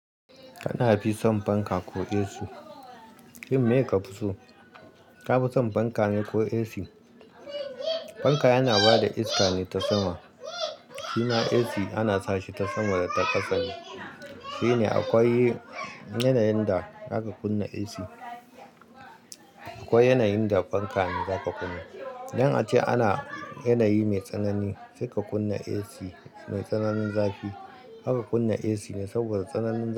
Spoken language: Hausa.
Kana fi son fanka ko AC? Kin me ka fi so? Ka fi son fanka ne ko AC? Fanka yana ba da iska ne ta sama. Shima AC ana sashi ta sama da ta ƙasa ne. Shine akwai yanayin da zaka kunna AC. Akwai yanayin da fanka ne za ka kunna. Don ace ana yanayi mai tsanani, sai ka kunna AC mai tsananin zafi. Zaka kunna AC ne saboda tsananin zafi.